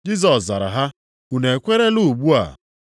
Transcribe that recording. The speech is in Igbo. Jisọs zara ha, “Unu ekwerela ugbu a?